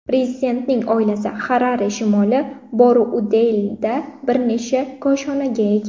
Prezidentning oilasi Xarare shimoli Borroudeylda bir necha koshonaga ega.